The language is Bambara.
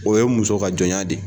O ye muso ka jɔnya de ye